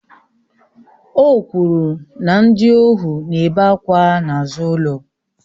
O kwuru na ndị ohu na-ebe àkwà n'azụ ụlọ